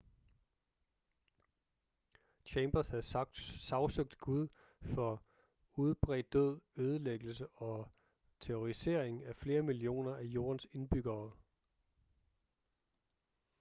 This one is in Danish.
chambers havde sagsøgt gud for udbredt død ødelæggelse og terrorisering af flere millioner af jordens indbyggere